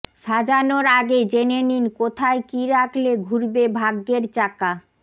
সাজানোর আগে জেনে নিন কোথায় কি রাখলে ঘুরবে ভাগ্যের চাকা